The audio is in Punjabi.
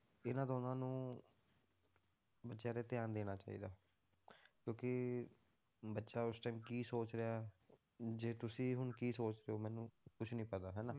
ਇਹਨਾਂ ਦਾ ਉਹਨਾਂ ਨੂੰ ਬੱਚਿਆਂ ਤੇ ਧਿਆਨ ਦੇਣਾ ਚਾਹੀਦਾ ਹੈ, ਕਿਉਂਕਿ ਬੱਚਾ ਉਸ time ਕੀ ਸੋਚ ਰਿਹਾ ਹੈ, ਜੇ ਤੁਸੀਂ ਹੁਣ ਕੀ ਸੋਚ ਰਹੇ ਹੋ ਮੈਨੂੰ ਕੁਛ ਨੀ ਪਤਾ ਹਨਾ